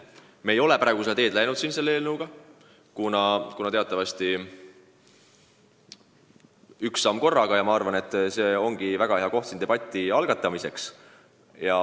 Me ei ole praegu seda teed läinud, teatavasti astutakse üks samm korraga, aga ma arvan, et see on väga õige koht selleteemalise debati algatamiseks.